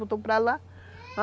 Botou para lá.